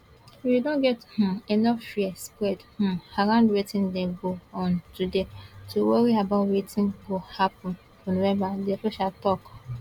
we don get um enough fear spread um around wetin dey go on today to worry about wetin gio happun for november di official tok